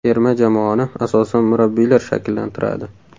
Terma jamoani asosan murabbiylar shakllantiradi.